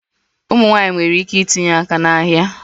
Ụmụ nwanyị nwere ike itinye aka n'ahịa